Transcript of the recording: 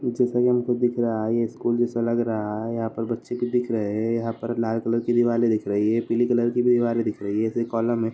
जैसा कि हमको दिख रहा है यह स्कूल जैसा लग रहा है यहाँ पर बच्चे भी दिख रहे हैं यहाँ पर लाल कलर की दीवारे दिख रही हैं पीली कलर की भी दीवारे दिख रही हैं